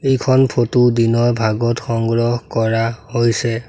এইখন ফটো দিনৰ ভাগত সংগ্ৰহ কৰা হৈছে।